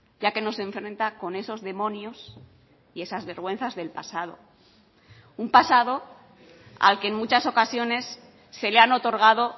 ya que no se enfrenta con esos demonios y esas vergüenzas del pasado un pasado al que en muchas ocasiones se le han otorgado